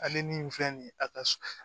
Ale ni filɛ nin ye a ka s